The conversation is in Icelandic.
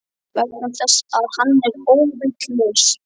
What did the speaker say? Vegna þess að hann er óvitlaus.